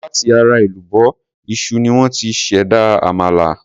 Láti ara èlùbọ́ iṣu ni wón ti ṣ'èdá àmàlà.